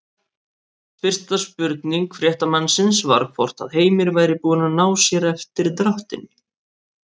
Fyrsta spurning fréttamannsins var hvort að Heimir væri búinn að ná sér eftir dráttinn?